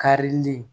Karili